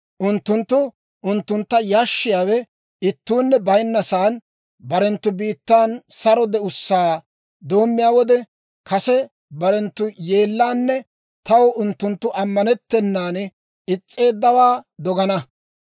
Unttunttu unttuntta yashshiyaawe ittuunne bayinna saan, barenttu biittan saro de'ussaa doommiyaa wode, kase barenttu yeellaanne taw unttunttu ammanettennan is's'eeddawaa dogana.